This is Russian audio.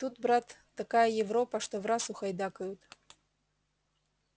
тут брат такая европа что враз ухайдакают